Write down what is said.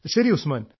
ശരി ഉസ്മാൻ